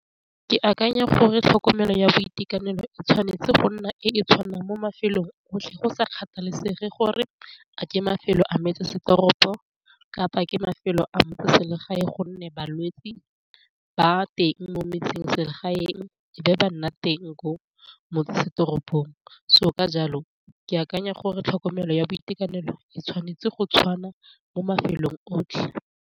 Ke akanya gore tlhokomelo ya boitekanelo e tshwanetse go nna e tshwana mo mafelong otlhe go sa kgathalesege gore a ke mafelo a metsesetoropo kapa ke mafelo a motseselegae gonne balwetsi ba teng mo metseselegaeng be ba nna teng ko motsesetoropong, so ka jalo ke akanya gore tlhokomelo ya boitekanelo e tshwanetse go tshwana mo mafelong otlhe.